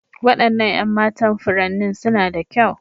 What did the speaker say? Waɗannan 'yan matan furanni suna da kyau.